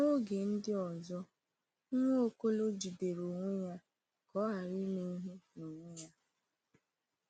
N’oge ndị ọzọ, Nwaokolo jidere onwe ya ka ọ ghara ime ihe n’onwe ya.